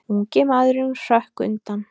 Ungi maðurinn hrökk undan.